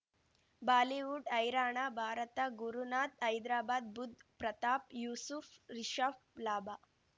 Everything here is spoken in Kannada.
ಬಾಲಿವುಡ್ ಹೈರಾಣ ಭಾರತ ಗುರುನಾಥ್ ಹೈದ್ರಾಬಾದ್ ಬುಧ್ ಪ್ರತಾಪ್ ಯೂಸುಫ್ ರಿಷಬ್ ಲಾಭ